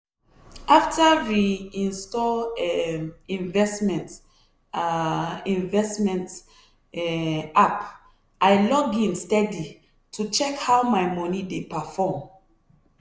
after re-install um investment um investment um app i log in steady to check how my money dey perform.